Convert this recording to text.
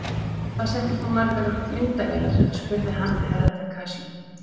Hvað settir þú margar myndavélar spurði hann Herra Takashi.